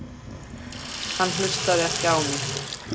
Hann hlustaði ekki á mig.